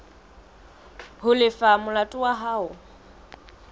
ho lefa molato wa hao